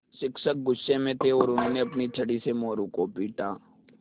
शिक्षक गुस्से में थे और उन्होंने अपनी छड़ी से मोरू को पीटा